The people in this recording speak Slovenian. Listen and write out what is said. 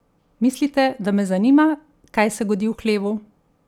Mislite, da me zanima, kaj se godi v hlevu?